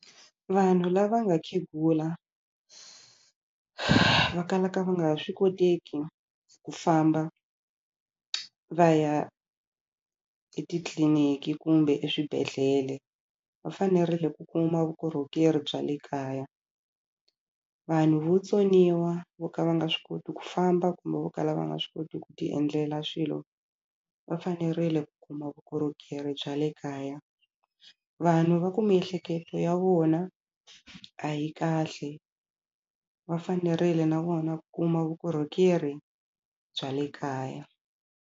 Vanhu lava nga khegula va kalaka va nga ha swi koteki ku famba va ya etitliniki kumbe eswibedhlele va fanerile ku kuma vukorhokeri bya le kaya vanhu votsoniwa vo ka va nga swi koti ku famba kumbe vo kala va nga swi koti ku ti endlela swilo va fanerile ku kuma vukorhokeri bya le kaya vanhu va ku miehleketo ya vona a yi kahle va fanerile na vona ku kuma vukorhokeri bya le kaya.